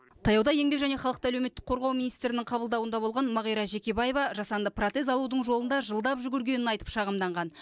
таяуда еңбек және халықты әлеуметтік қорғау министрінің қабылдауында болған мағира жекебаева жасанды протез алудың жолында жылдап жүгіргенін айтып шағымданған